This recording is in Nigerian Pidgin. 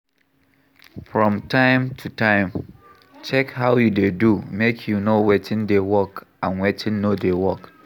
From time to time, check how you dey do make you know wetin dey work and wetin no dey work